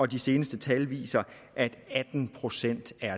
de seneste tal viser at atten procent er